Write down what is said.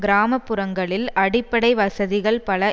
கிராம புறங்களில் அடிப்படை வசதிகள் பல